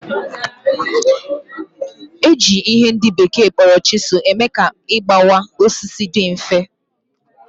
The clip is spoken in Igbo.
Eji ihe ndị bekee kpọrọ chisel eme ka igbawa osisi dị mfe